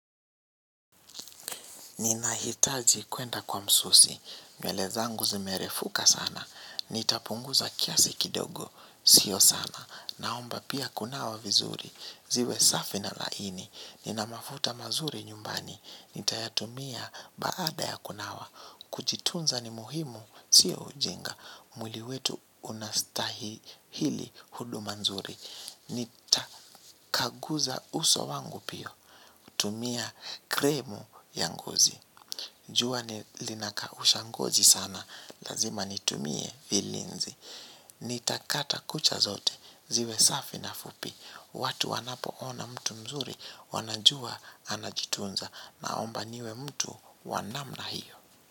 Nina hitaji kwenda kwa msusi, nywele zangu zimerefuka sana, nitapunguza kiasi kidogo, sio sana, naomba pia kunawa vizuri, ziwe safi na laini, nina mafuta mazuri nyumbani, nitayatumia baada ya kunawa, kuchitunza ni muhimu, sio ujinga, muili wetu unastahi hili huduma nzuri, nitakaguza uso wangu pio, tumia kremu ya ngozi. Jua ni linakausha ngozi sana, lazima nitumie vilinzi. Nitakata kucha zote, ziwe safi na fupi. Watu wanapo ona mtu mzuri, wanajua anajitunza. Naomba niwe mtu wa namna hiyo.